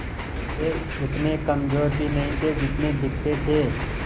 वे उतने कमज़ोर भी नहीं थे जितने दिखते थे